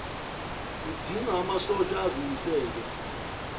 kudinga amasotsha azimisele